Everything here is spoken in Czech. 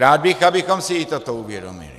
Rád bych, abychom si i toto uvědomili.